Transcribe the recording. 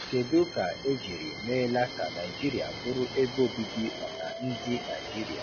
Kedụ ka ejiri meela ka Naịjirịa bụrụ ebe obibi maka ndị Naịjirịa?